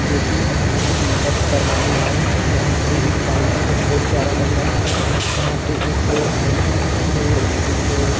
जोकि अपना कुछ मेकअप करवाने आये हैं यहाँ पे एक काउंटर बहुत प्यारा लग रहा है यहाँ पे एक आंटी हैं जो एक--